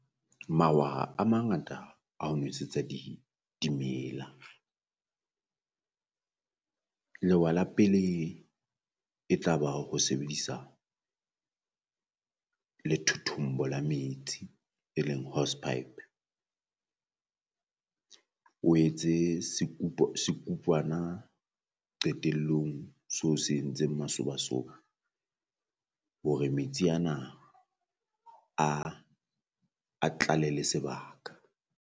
Mawaha a mangata a ho nosetsa di dimela, lewa la pele e tla ba hore o sebedisa lethothombo la metsi e leng hose pipe. O etse sekupwana qetellong so se entseng masobasoba hore metsi ana a a tlale le sebaka.